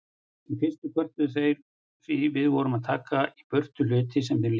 Í fyrstu kvörtuðu þeir því við vorum að taka í burtu hluti sem þeim líkaði.